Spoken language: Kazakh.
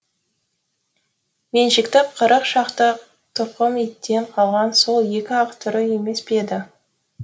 меншікті қырық шақты тұқым иттен қалған сол екі ақ түрі емес пе еді